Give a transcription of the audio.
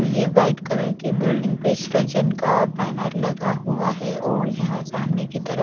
ये white colour के building पर सृजन का बैनर लगा हुआ है और यहां सामने की तरफ--